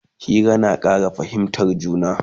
Hira yana Ƙara fahimtan juna